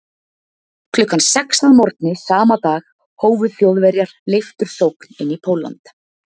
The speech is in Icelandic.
Klukkan sex að morgni sama dag hófu Þjóðverjar leiftursókn inn í Pólland.